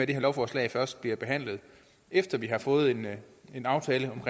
det her lovforslag først bliver behandlet efter at vi har fået en en aftale om